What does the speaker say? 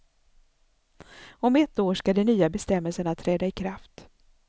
Om ett år skall de nya bestämmelserna träda ikraft.